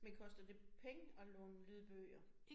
Men koster det penge at låne lydbøger?